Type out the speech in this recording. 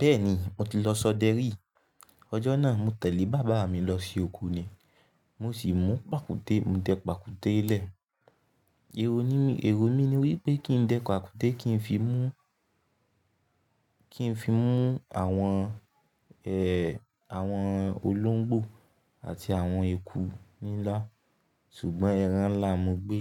Bẹ́ẹ̀ni mo ti lọ ṣọ́dẹrí. Ọjọ́ náà mo tẹ̀lé bàbá mi lọ sí oko ni mo sì mú pàkúté, mo dẹ pàkúté lẹ̀. Èrò mi, èrò mi ni wípé kí n dẹ pàkúté kí n fi mú, kí n fi mú àwọn ẹ̀, àwọn olóńgbò àti àwọn eku ńlá, ṣùgbọ́n ẹran ńlá mo gbé,